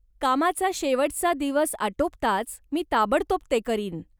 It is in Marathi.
कामाचा शेवटचा दिवस आटोपताच मी ताबडतोब ते करीन.